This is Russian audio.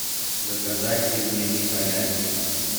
заказать пельмени халяль